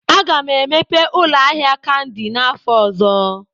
Aga m emepe ụlọ ahịa kandi n'afọ ọzọ